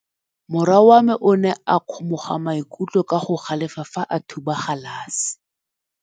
Morwa wa me o ne a kgomoga maikutlo ka go galefa fa a thuba galase.